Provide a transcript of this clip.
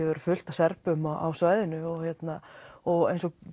verða fullt af Serbum á svæðinu og eins og